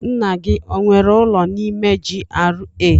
Nna gị o nwere ụlọ n'ime GRA?